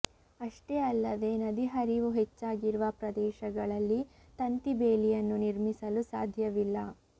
ಅಷ್ಟೇ ಅಲ್ಲದೇ ನದಿ ಹರಿವು ಹೆಚ್ಚಾಗಿರುವ ಪ್ರದೇಶಗಳಲ್ಲಿ ತಂತಿ ಬೇಲಿಯನ್ನು ನಿರ್ಮಿಸಲು ಸಾಧ್ಯವಿಲ್ಲ